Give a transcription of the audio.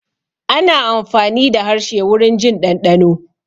Ana amfani da harshe wurin jin ɗanɗano